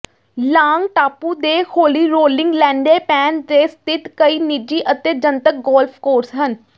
long ਟਾਪੂ ਦੇ ਹੌਲੀ ਰੋਲਿੰਗ ਲੈਂਡੈਪੈੱਨ ਤੇ ਸਥਿਤ ਕਈ ਨਿੱਜੀ ਅਤੇ ਜਨਤਕ ਗੋਲਫ ਕੋਰਸ ਹਨ